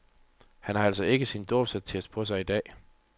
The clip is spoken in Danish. Han har altså ikke sin dåbsattest på sig i dag.